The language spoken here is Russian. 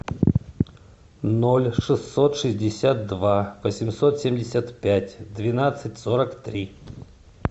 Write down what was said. ноль шестьсот шестьдесят два восемьсот семьдесят пять двенадцать сорок три